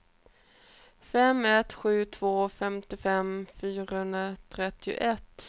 fem ett sju två femtiofem fyrahundratrettioett